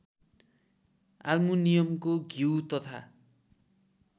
आल्मुनियमको घिउ तथा